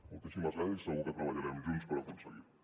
moltíssimes gràcies i segur que treballarem junts per aconseguir ho